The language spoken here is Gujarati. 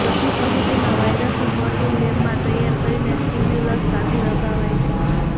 ચોથી પદ્ધતિમાં વાયરસનું પ્રોટીન લેબમાં તૈયાર કરીને સ્ટિમ્યુલસ સાથે લગાવાય છે